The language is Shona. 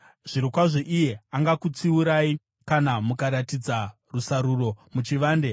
Zvirokwazvo iye angakutsiurai kana mukaratidza rusaruro muchivande.